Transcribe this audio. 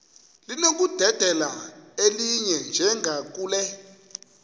linokudedela elinye njengakule